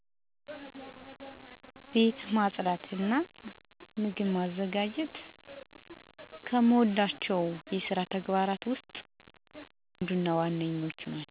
ቤት ማጽዳት እና ምግብ ማዘጋጀት።